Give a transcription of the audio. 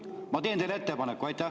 Ma teen teile ettepaneku!